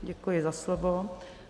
Děkuji za slovo.